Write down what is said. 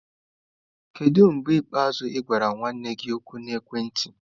Kedu mgbe ikpeazụ ị gwara nwanne gị okwu na ekwentị?